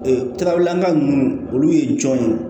Ee trawulanga ninnu olu ye jɔn ye